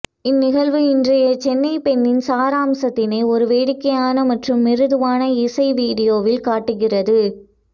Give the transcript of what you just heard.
இந்நிகழ்வு இன்றைய சென்னை பெண்ணின் சாராம்சத்தினை ஒரு வேடிக்கையான மற்றும் மிருதுவான இசை வீடியோவில் காட்டுகிறது